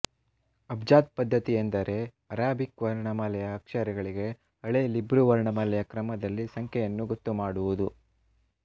ಅಬ್ಜಾದ್ ಪದ್ಧತಿ ಎಂದರೆ ಅರಾಬಿಕ್ ವರ್ಣಮಾಲೆಯ ಅಕ್ಷರಗಳಿಗೆ ಹಳೇ ಹಿಬ್ರು ವರ್ಣಮಾಲೆಯ ಕ್ರಮದಲ್ಲಿ ಸಂಖ್ಯೆಯನ್ನು ಗೊತ್ತು ಮಾಡುವುದು